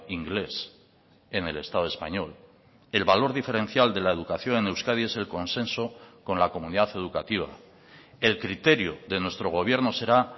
inglés en el estado español el valor diferencial de la educación en euskadi es el consenso con la comunidad educativa el criterio de nuestro gobierno será